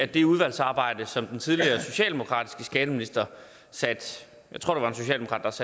det udvalgsarbejde som den tidligere socialdemokratiske skatteminister satte